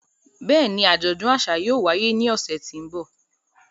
Bẹ́ẹ̀ni, ajọdun aṣa yóò waye ni ọsẹ ti n bọ.